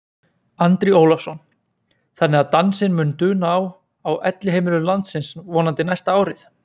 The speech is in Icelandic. Andri Ólafsson: Þannig að dansinn mun duna á, á elliheimilum landsins vonandi næsta árið?